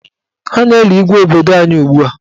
Ha na-eli Igwe obodo anyị ugbua.